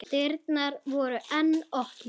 Dyrnar voru enn opnar.